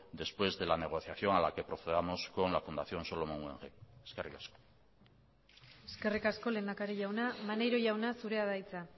después de la negociación a la que procedamos con la fundación solomon guggenheim eskerrik asko eskerrik asko lehendakari jauna maneiro jauna zurea da hitza